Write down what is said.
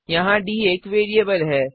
यहाँ डी एक वेरिएबल है